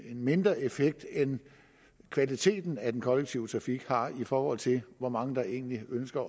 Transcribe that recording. mindre effekt end kvaliteten af den kollektive trafik har i forhold til hvor mange der egentlig ønsker